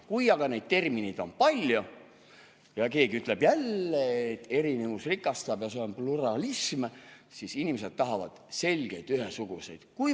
Kui aga neid termineid on palju ja keegi ütleb jälle, et erinevus rikastab ja see on pluralism, siis inimesed tahavad selgeid ühesuguseid.